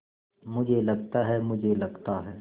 मुझे लगता है मुझे लगता है